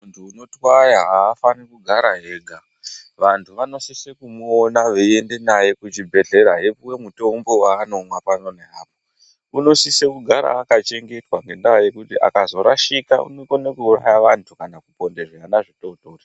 Munthu unotwaya afani kugara ega vanthu vanosise kumuona veienda naye kuchibhedhleya eipuwa mutombo waanomwa pano neapo, unosise kugara akachengetwa ngendaa yekuti akazorashika unokone kuuraya vanthu kana kuponda zvana zvidodori.